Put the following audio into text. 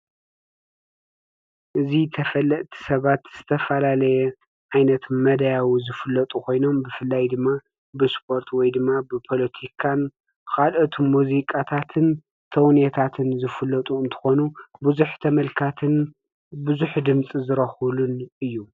እዚ ተፈልጥቲ ሰባት ዝተፈላለየ ዓይነት መዳያዊ ዝፍለጡ ኮይኖም ብፍላይ ድማ ብስፖርት ወይ ድማ ብፖለቲካን ካልኦት ሙዚቃታትን ተውኔታትን ዝፍለጡ እንትኾኑ ብዙ ተመልካትን ብዙ ድምፂን ዝረኽቡሉን እዩ።